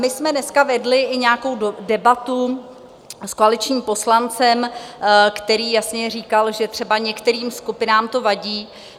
My jsme dneska vedli i nějakou debatu s koaličními poslancem, který jasně říkal, že třeba některým skupinám to vadí.